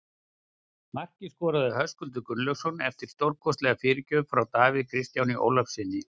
Markið skoraði Höskuldur Gunnlaugsson eftir stórkostlega fyrirgjöf frá Davíð Kristjáni Ólafssyni.